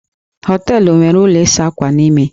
Hóteélụ̀ nwere ụlọ ịsa ákwà n'ime